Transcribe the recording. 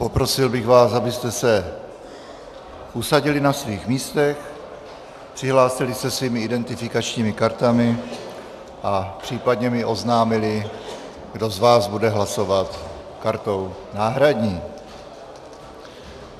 Poprosil bych vás, abyste se usadili na svých místech, přihlásili se svými identifikačními kartami a případně mi oznámili, kdo z vás bude hlasovat kartou náhradní.